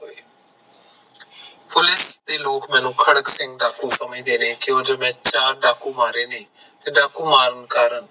police ਦੇ ਲੋਕ ਮੈਨੂੰ ਖੜਕ ਸਿੰਘ ਡਾਕੂ ਸਮਝਦੇ ਨੇ ਕਿਯੋਕੀ ਮੈਂ ਚਾਰ ਡਾਕੂ ਮਾਰੇ ਨੇ ਤੇ ਡਾਕੂ ਮਾਰਨ ਕਾਰਨ